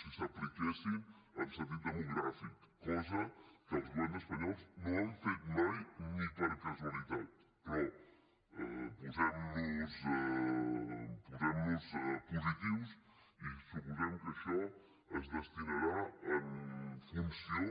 si s’apliquessin en sentit demogràfic cosa que els governs espanyols no han fet mai ni per casualitat però posem nos positius i suposem que això es destinarà en funció